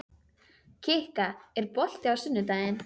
Kikka, er bolti á sunnudaginn?